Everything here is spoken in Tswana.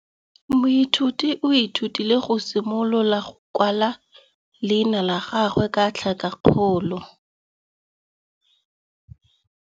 Moithuti o ithutile go simolola go kwala leina la gagwe ka tlhakakgolo.